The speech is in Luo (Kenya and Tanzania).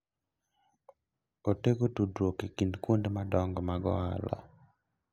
Otego tudruok e kind kuonde madongo mag ohala.